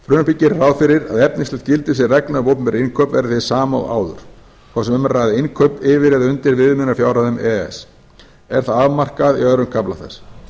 gerir ráð fyrir að efnislegt gildissvið reglna um opinber innkaup verði hið sama og áður hvort sem um er að ræða innkaup yfir eða undir viðmiðunarfjárhæðum e e s er það afmarkað í öðrum kafla þess